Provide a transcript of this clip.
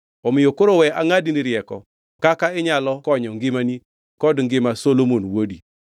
Omiyo koro we angʼadni rieko kaka inyalo konyo ngimani kod ngima Solomon wuodi.”